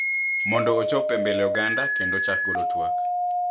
Mondo ochop e mbele oganda kendo ochak golo twak